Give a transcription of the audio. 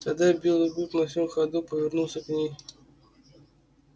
тогда белый клык на всём ходу повернулся к ней